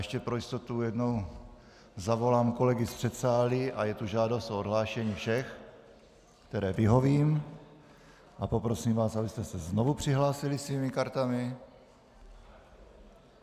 Ještě pro jistotu jednou zavolám kolegy z předsálí a je tu žádost o odhlášení všech, které vyhovím, a poprosím vás, abyste se znovu přihlásili svými kartami.